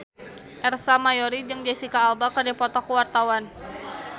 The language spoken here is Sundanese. Ersa Mayori jeung Jesicca Alba keur dipoto ku wartawan